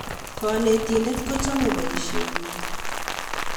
kanetindetnin kochome boisienyin